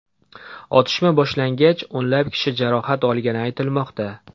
Otishma boshlangach, o‘nlab kishi jarohat olgani aytilmoqda.